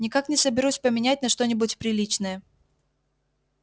никак не соберусь поменять на что-нибудь приличное